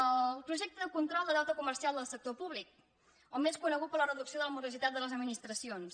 el projecte de control de deute comercial del sector públic o més conegut per de reducció de la morositat de les administracions